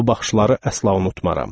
O baxışları əsla unutmaram.